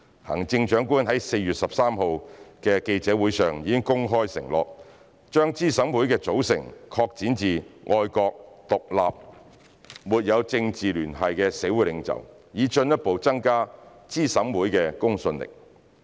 行政長官於4月13日的記者會上已公開承諾，把資審會的組成擴展至愛國、獨立和沒有政治聯繫的社會領袖，以進一步增加資審會的公信力。